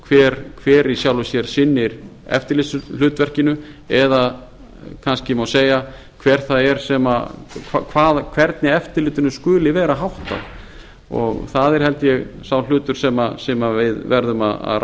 óljóst hver í sjálfu sér sinnir eftirlitshlutverkinu eða kannski má segja hvernig eftirlitinu skuli vera háttað það er sá hlutur sem við verðum að